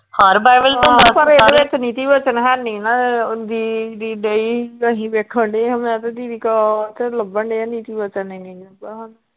ਹਰ Bible ਚ ਹੁੰਦਾ ਪਰ ਇਹਦੇ ਵਿਚ ਨੀਤੀ ਬੱਚਨ ਹੈਨੀ ਨਾ ਦੀ ਦੀਦੀ ਡਈ ਸੀ ਤੇ ਅਸੀਂ ਵੇਖਣ ਡਏ ਹਾਂ ਮੈਂ ਤੇ ਦੀਦੀ ਲੱਭਣ ਡਏ ਹਾਂ ਨੀਤੀ ਬੱਚਨ ਹੀ ਨਹੀਂ ਲਭਾ।